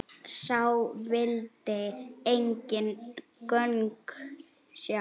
Sá vildi engin gögn sjá.